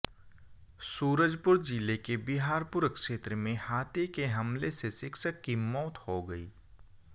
सूरजपुर जिले के बिहारपुर क्षेत्र में हाथी के हमले से शिक्षक की मौत हो गई